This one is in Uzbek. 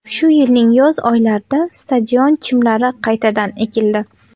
Shu yilning yoz oylarida stadion chimlari qaytadan ekildi.